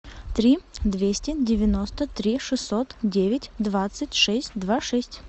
три двести девяносто три шестьсот девять двадцать шесть два шесть